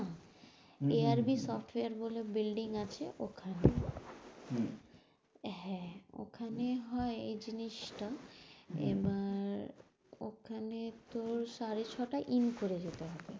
এ. R V software বলে bulding আছে, ওখানে হম হ্যাঁ, ওখানে হয় এ জিনিস টা, এবার ওখানে তোর সাড়ে ছটায় in করে যেতে হবে।